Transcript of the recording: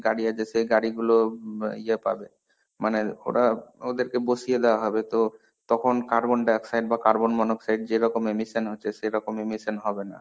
গাড়ী আইতেছে গাড়ীগুলো ব ইয়া পাবে. মানে ওরা ওদের কে বসিয়ে দেওয়া হবে তো. তখন carbon dioxide বা carbon monooxide যেরকম immison হচ্ছে সেরকম immison হবে না.